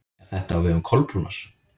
Er þetta á vegum Kolbrúnar?